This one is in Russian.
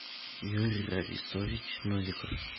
юрий рависович новиков